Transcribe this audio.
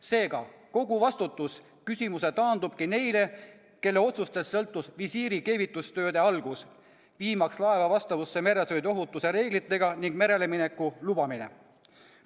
Seega, kogu vastutuseküsimus taandubki neile, kelle otsustest sõltus visiiri keevitustööde algus, viimaks laeva vastavusse meresõiduohutuse reeglitega, ning laeva merelemineku lubamine.